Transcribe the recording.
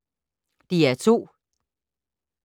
DR2